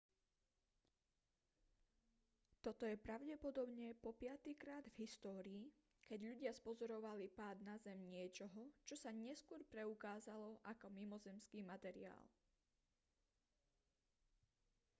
toto je pravdepodobne po piatykrát v histórii keď ľudia spozorovali pád na zem niečoho čo sa neskôr preukázalo ako mimozemský materiál